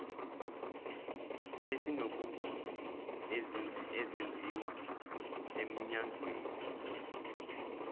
esinobungozi ezenziwa emnyangweni